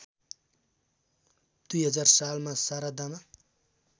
२००० सालमा शारदामा